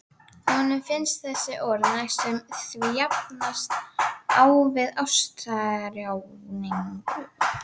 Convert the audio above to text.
Honum finnst þessi orð næstum því jafnast á við ástarjátningu.